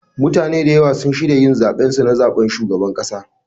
MUtane da ywa sun shirya yin zaben su na zaɓen shugabar kasa.